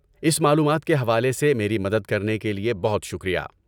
اس معلومات کے حوالے سے میری مدد کرنے کے لیے بہت شکریہ۔